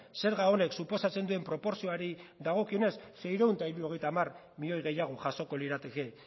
zerga honek suposatzen duen proportzioari dagokionez seiehun eta hirurogeita hamar milioi gehiago jasoko lirateke